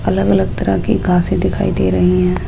अलग-अलग तरह के घासे दिखाई दे रही हैं।